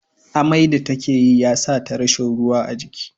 Mai da take ya sata rashi ruwa a jiki